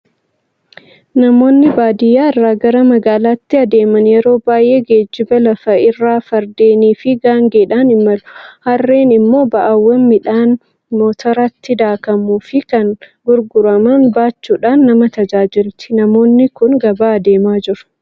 Namoonni baadiyaa irraa gara magaalaatti adeeman yeroo baay'ee geejjiba lafa irraa Fardeenii fi gaangeedhaan imalu. Harreen immoo ba'aawwan midhaan motoratti daakamuu fi kan gurguraman baachuudhaan nama tajaajilti. Namoonni kun gabaa adeemaa jiru.